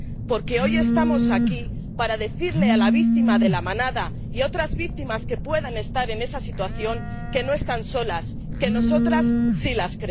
Porque hoy estamos aquí para decirle a la víctima de La Manada y a otras víctimas que puedan estar en esa situación que no están solas, que nosotras sí las